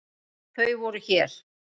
Þau voru hér.